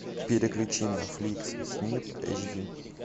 переключи на фликс снип эйч ди